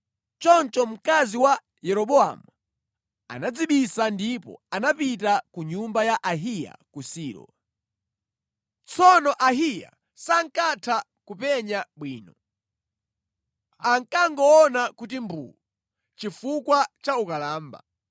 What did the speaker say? Choncho mkazi wa Yeroboamu anadzibisa ndipo anapita ku nyumba ya Ahiya ku Silo. Tsono Ahiya sankatha kupenya bwino. Ankangoona kuti mbuu chifukwa cha ukalamba.